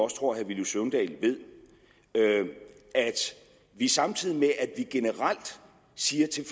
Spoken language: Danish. tror herre villy søvndal ved at vi samtidig med at vi generelt siger til